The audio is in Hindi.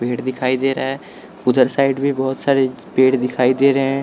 पेड़ दिखाई दे रहा है उधर साइड भी बहुत सारे पेड़ दिखाई दे रहे हैं।